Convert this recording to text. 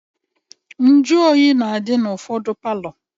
Njuoyi na-adị n'ụfọdụ palọ